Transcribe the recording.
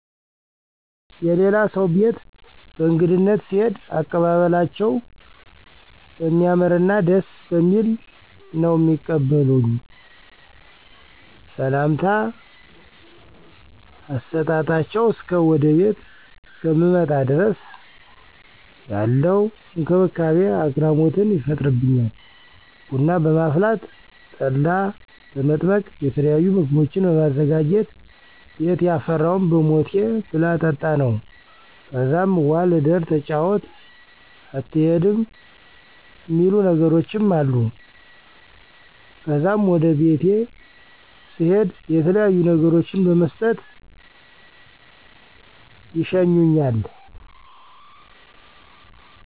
የላሌ ሰው ቤት በእግድነት ስሄድ አቀባበላቸው በሚያምርና ደስ በሚል ነው ሚቀበሉኝ። ሰምታ ከሰጣጣቸው እስከ ወደ ቤቴ እስከምመጣ ድረስ ያለው እክብካቤ አግራሞትን ይፈጥርበኛል። ቡና በማፍላት፣ ጠላ በመጥመቅ የተለያዩ ምግቦችን በማዘጋጀት ቤት የፈራውን በሞቴ ብላ ጠጣ ነው። ከዛም ዋል እደር ተጫወት አትሄድም እሚሉ ነገሮችም አሉ። ከዛም ወደ ቤቴ ስሄድ የተለያዩ ነገሮችን በመስጠት ይሸኛል።